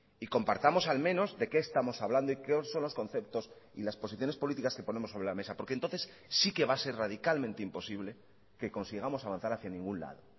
y compartamos al menos de qué estamos hablando y qué son los conceptos y las posiciones políticas que ponemos sobre la mesa porque entonces sí que va a ser radicalmente imposible que consigamos avanzar hacia ningún lado